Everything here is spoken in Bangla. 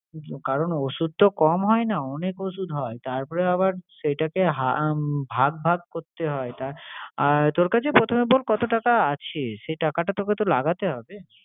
কারন ওষুধ তো কম হয় না, অনেক ওষুধ হয়। তারপরে আবার সেইটাকে উম ভাগ ভাগ করতে হয়। তোর কাছে প্রথমে বল কত টাকা আছে? সে টাকাটা তোকে তো লাগাতে হবে।